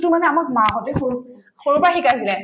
মানে আমাক মাহঁতে সৰুত‍ সৰুৰ পৰা শিকাই আছিলে